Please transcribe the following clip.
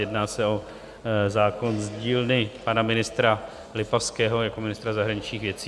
Jedná se o zákon z dílny pana ministra Lipavského jako ministra zahraničních věcí.